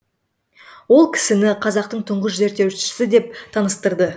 ол кісіні қазақтың тұңғыш зерттеушісі деп таныстырды